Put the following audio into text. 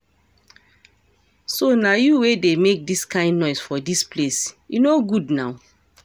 So na you wey dey make dis kin noise for dis place, e no good now